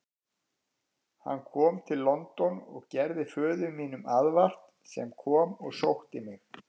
Hann kom til London og gerði föður mínum aðvart, sem kom og sótti mig.